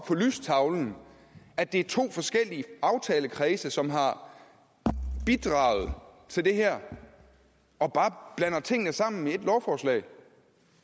på lystavlen at det er to forskellige aftalekredse som har bidraget til det her og bare blander tingene sammen i et lovforslag